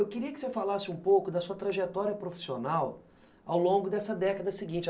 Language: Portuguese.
Eu queria que você falasse um pouco da sua trajetória profissional ao longo dessa década seguinte.